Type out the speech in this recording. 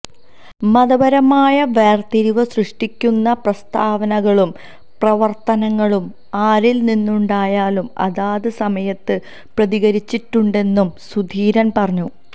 മതപരമായ വേര്തിരിവ് സൃഷ്ടിക്കുന്ന പ്രസ്താവനകളും പ്രവര്ത്തനങ്ങളും ആരില് നിന്നുണ്ടായാലും അതാത് സമയത്ത് പ്രതികരിച്ചിട്ടുണ്ടെന്നും സുധീരന് പറഞ്ഞു